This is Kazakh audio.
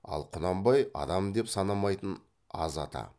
ал құнанбай адам деп санамайтын аз ата